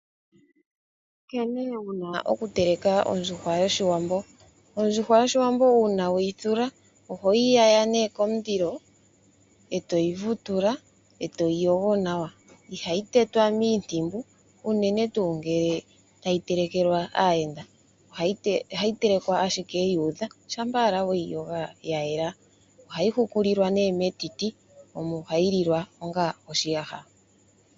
Nkene wuna oku teleka ondjuhwa yoshiwambo; ondjuhwa yoshiwambo uuna we yi thula ohoyi yaya komulilo eto yi vutula eto yi yogo nawa, ihayi tetwa miintumbu unene tuu ngele tayi telekelwa aayenda ohayi telekwa ashike yu udha shampa owala weyi yoga ya yela. Ohayi hukulilwa metiti omo hayi lilwa onga oshiyaha.